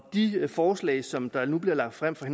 de forslag som der nu bliver lagt frem for